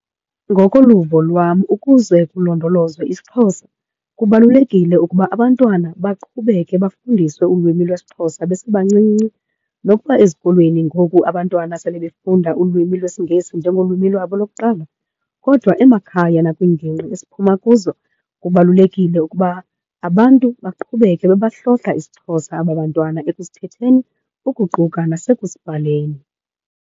Ngokoluvo lwam ukuze kulondolozwe isiXhosa kubalulekile ukuba abantwana baqhubeke bafundiswe ulwimi lwesiXhosa besebancinci. Nokuba ezikolweni ngoku abantwana sele befunda ulwimi lwesiNgesi njengolwimi lwabo lokuqala kodwa emakhaya nakwiingingqi esiphuma kuzo, kubalulekile ukuba abantu baqhubeke bebahlokha isiXhosa aba bantwana ekusithetheni ukuquka nasekusibhaleni.